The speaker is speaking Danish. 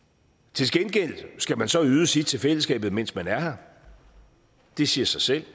til gengæld skal man så yde sit til fællesskabet mens man er her det siger sig selv